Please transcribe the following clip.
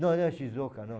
Não era Shizuoka, não.